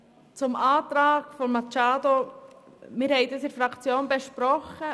Den Antrag von Grossrätin Machado Rebmann haben wir in der Fraktion besprochen;